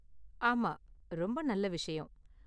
ஆமா, ரொம்ப நல்ல விஷயம்.